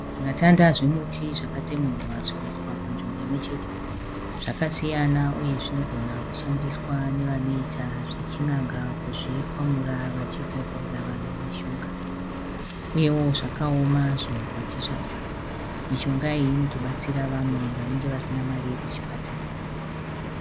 Zvimatanda zvemuti zvakatsemurwa zvikaiswa panzvimbo imwechete. Zvakasiyana uye zvinogona kushandiswa nevanoita zvechin'anga kuzvikwamura vachigadzirira vanhu mishonga. Uyewo zvakaoma zvimakwati zvacho. Mishonga iyi inotobatsira vamwe vanenge vasina mari yekuchipatara.